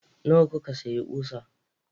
Nawa kuka sayi ƙusa?